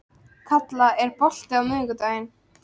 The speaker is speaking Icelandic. Kalla, er bolti á miðvikudaginn?